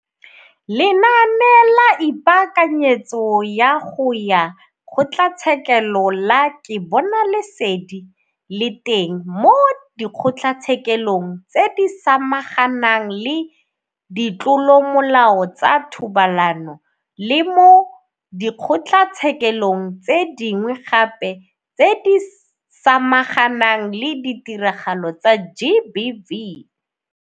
Lenaane la Ipaakanyetso ya go ya Kgotlatshekelo la Ke Bona Lesedi le teng mo Dikgotlatshekelong tse di Samaganang le Ditlolomolao tsa Thobalano le mo dikgotlatshekelong tse dingwe gape tse di samaganang le ditiragalo tsa GBV.